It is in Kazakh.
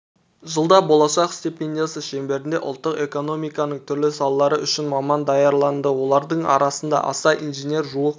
жылда болашақ стипендиясы шеңберінде ұлттық экономиканың түрлі салалары үшін маман даярланды олардың арасында аса инженер жуық